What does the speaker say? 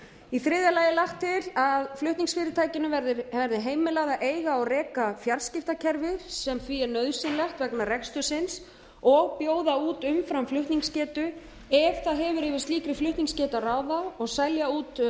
í þriðja lagi er lagt til að flutningsfyrirtækinu verði heimilað að eiga og reka fjarskiptakerfi sem því er nauðsynlegt vegna rekstursins og bjóða út umframflutningsgetu ef það hefur yfir slíkri flutningsgetu að ráða og selja út